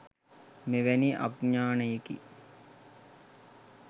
මෙවැනි අඥානයෙකි.